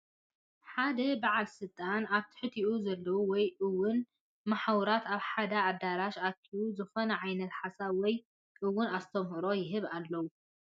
ሓደ በዓል ስልጣን ኣብ ትሕቲኡ ዘለዉ ወይ እውን መሓውራት ኣብ ሓደ ኣዳራሽ ኣኪቡ ዝኾነ ዓይነት ሓሳብ ወይ እውን ኣስተምህሮ ይህቦም ኣሎ፡፡